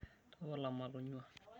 Tapala matonyuaa.